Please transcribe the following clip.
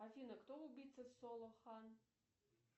афина кто убийца соло хан